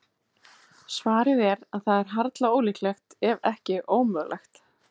Svarið er að það er harla ólíklegt, ef ekki ómögulegt.